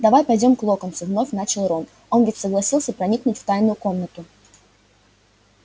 давай пойдём к локонсу вновь начал рон он ведь согласился проникнуть в тайную комнату